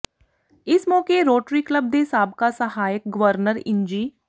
ਇਸ ਮੌਕੇ Rotary club ਦੇ ਸਾਬਕਾ ਸਹਾਇਕ ਗਵਰਨਰ ਇੰਜੀ